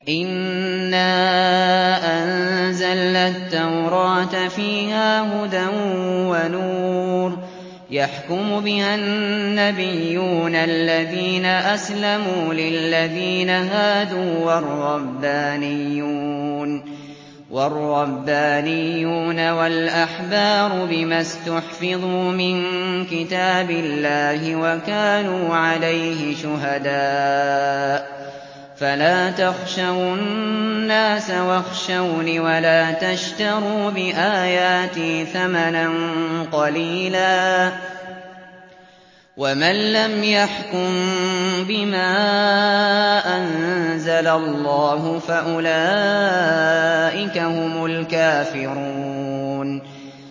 إِنَّا أَنزَلْنَا التَّوْرَاةَ فِيهَا هُدًى وَنُورٌ ۚ يَحْكُمُ بِهَا النَّبِيُّونَ الَّذِينَ أَسْلَمُوا لِلَّذِينَ هَادُوا وَالرَّبَّانِيُّونَ وَالْأَحْبَارُ بِمَا اسْتُحْفِظُوا مِن كِتَابِ اللَّهِ وَكَانُوا عَلَيْهِ شُهَدَاءَ ۚ فَلَا تَخْشَوُا النَّاسَ وَاخْشَوْنِ وَلَا تَشْتَرُوا بِآيَاتِي ثَمَنًا قَلِيلًا ۚ وَمَن لَّمْ يَحْكُم بِمَا أَنزَلَ اللَّهُ فَأُولَٰئِكَ هُمُ الْكَافِرُونَ